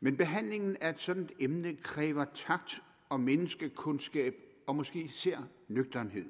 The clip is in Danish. men behandlingen af et sådant emne kræver takt og menneskekundskab og måske især nøgternhed